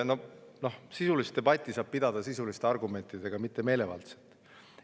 Noh, sisulist debatti saab pidada sisuliste argumentidega, mitte meelevaldselt.